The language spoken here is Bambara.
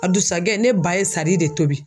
A dusajɛ ne ba ye sari de tobi.